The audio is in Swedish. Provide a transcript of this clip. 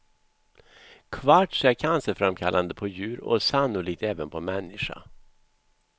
Kvarts är cancerframkallande på djur och sannolikt även på människa.